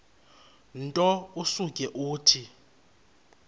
nto usuke uthi